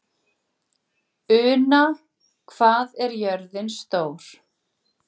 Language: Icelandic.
Una, hvað er jörðin stór?